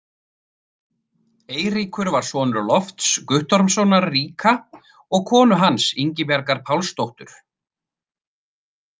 Eiríkur var sonur Lofts Guttormssonar ríka og konu hans, Ingibjargar Pálsdóttur.